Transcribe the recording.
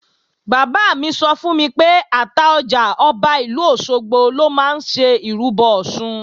Bàbá mi sọ fún mi pé Àtaọjà, Ọba ìlú Òṣogbo lọ máa ń ṣe ìrúbọ Ọ̀ṣun